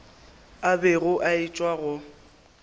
a bego a etšwa go